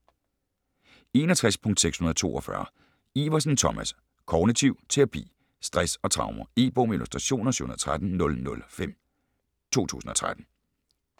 61.642 Iversen, Thomas: Kognitiv terapi Stress og traumer. E-bog med illustrationer 713005 2013.